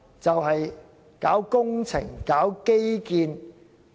就是工程、基建業。